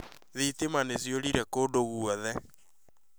Thitima nĩ ciorire kũndũ guothe